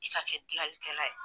I ka kɛ dilalikɛla ye.